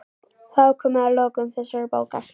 Þá er komið að lokum þessarar bókar.